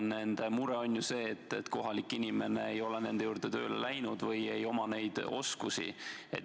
Nende mure on see, et kohalik inimene ei ole nende juurde tööle läinud või ei oma neid oskusi.